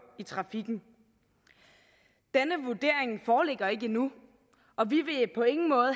i trafikken denne vurdering foreligger ikke endnu og vi vil på ingen måde